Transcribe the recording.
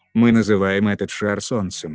мы называем этот шар солнцем